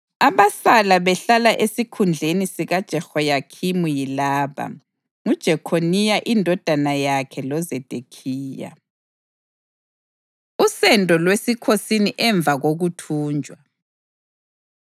Abasala behlala esikhundleni sikaJehoyakhimi yilaba: nguJekhoniya indodana yakhe loZedekhiya. Usendo Lwesikhosini Emva Kokuthunjwa